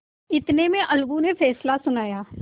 इतने में अलगू ने फैसला सुनाया